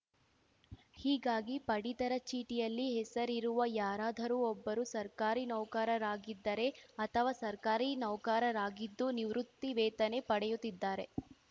ಹೀಗಾಗಿ ಪಡಿತರ ಚೀಟಿಯಲ್ಲಿ ಹೆಸರಿರುವ ಯಾರಾದರೂ ಒಬ್ಬರು ಸರ್ಕಾರಿ ನೌಕರರಾಗಿದ್ದರೆ ಅಥವಾ ಸರ್ಕಾರಿ ನೌಕರರಾಗಿದ್ದು ನಿವೃತ್ತಿ ವೇತನೆ ಪಡೆಯುತ್ತಿದ್ದಾರೆ